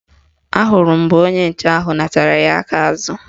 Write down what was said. Ahụrụ m mgbe onye nche ahụ natara ya aka azụ